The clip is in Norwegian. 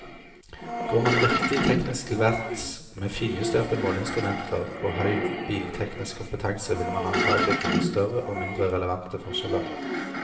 Går man riktig teknisk til verks, med finjusterte måleinstrumenter og høy bilteknisk kompetanse, vil man antagelig finne større og mindre relevante forskjeller.